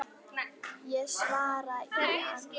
Ég svara í ann